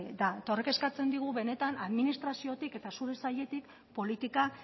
da eta horrek kezkatzen digu benetan administraziotik eta zure sailetik politika